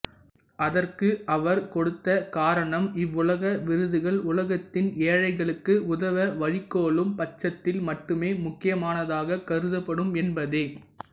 அதற்கு அவர் கொடுத்த காரணம் இவ்வுலக விருதுகள் உலகத்தின் ஏழைகளுக்கு உதவ வழிகோலும் பட்சத்தில் மட்டுமே முக்கியமானதாகக் கருதப்படும் என்பதே